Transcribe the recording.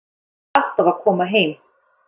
Hann er alltaf að koma heim.